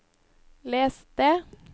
les det